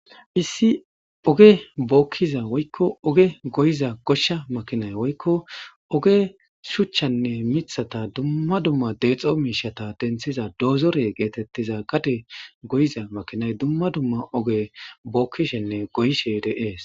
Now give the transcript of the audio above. issi oge bookkiza woykko oge goyiza goshsha makinay woykko oge shuchchanne mithata dumma dumma deexo miishata denthiza doozore geetettiza gade goyiza makinay dumma dumma oge bookkishenne goyishe de'ees